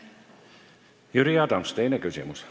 Jüri Adams, teine küsimus.